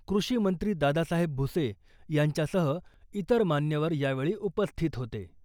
कृषी मंत्री दादासाहेब भुसे यांच्यासह इतर मान्यवर यावेळी उपस्थित होते.